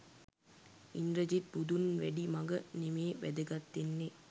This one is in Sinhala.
ඉන්ද්‍රජිත් බුදුන් වැඩි මග නෙමේ වැදගත් වෙන්නේ